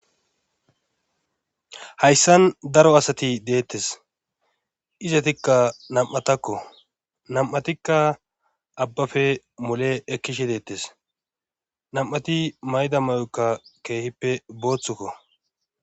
hayssan daro asati deettes izetikka nam7atakko nam7atikka abbafe mole ekkishe deettes nam7ati mayda may7okka keehippe booththukko